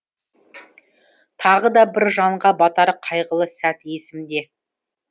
тағы да бір жанға батар қайғылы сәт есімде